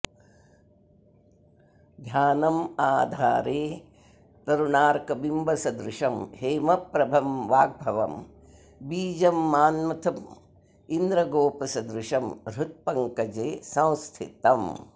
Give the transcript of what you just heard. ध्यानं आधारे तरुणार्कबिम्बसदृशं हेमप्रभं वाग्भवं बीजं मान्मथमिन्द्रगोपसदृशं हृत्पङ्कजे संस्थितम्